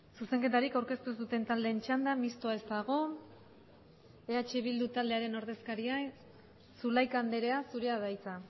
zuzenketarik aurkeztu ez duten taldeen txanda mistoa ez dago eh bildu taldearen ordezkaria zulaika andrea zurea da hitza